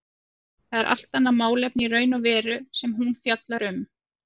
Það er allt annað málefni í raun og veru sem hún fjallar um.